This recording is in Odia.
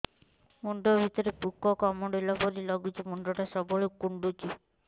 ମୁଣ୍ଡ ଭିତରେ ପୁକ କାମୁଡ଼ିଲା ପରି ଲାଗୁଛି ମୁଣ୍ଡ ଟା ସବୁବେଳେ କୁଣ୍ଡୁଚି